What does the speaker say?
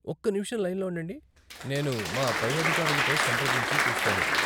ఒక్క నిమిషం లైన్లో ఉండండి, నేను మా పై అధికారులతో సంప్రదించి చూస్తాను.